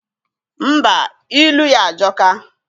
Ḿbà, ilu ya ajoka.